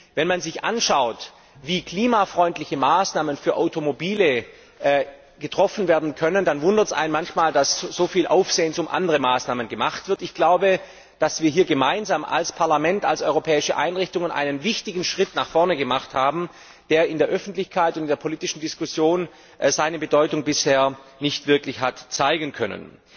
Wenn man sich anschaut, wie klimafreundliche Maßnahmen für Automobile getroffen werden können, dann wundert es einen manchmal, dass so viel Aufsehen um andere Maßnahmen gemacht wird. Ich glaube, dass wir hier gemeinsam als Parlament, als europäische Organe einen wichtigen Schritt nach vorne gemacht haben, der in der Öffentlichkeit und in der politischen Diskussion seine Bedeutung bisher nicht wirklich hat zeigen können.